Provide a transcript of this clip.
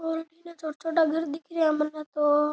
और इने छोटा छोटा घर दिख रिया मन्ने तो।